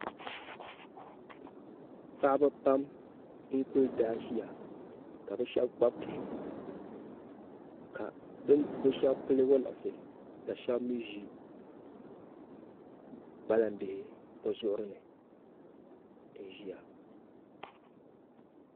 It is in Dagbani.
paɣaba pam n-kuli daaʒia ka bɛ shɛba kpabi bihi ka bɛ shɛba pili waliɣisi ka shɛba mii ʒi kpalam'bihi bɛ zuɣuri ni n-ʒia